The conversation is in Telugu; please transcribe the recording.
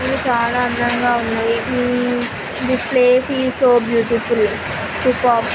ఇది చాలా అందంగా ఉన్నది. This place is so beautiful . Peacock --